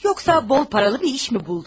Yoxsa bol pullu bir iş mi tapdın?